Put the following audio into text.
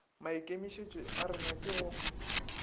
maikemišetšo a rena ke go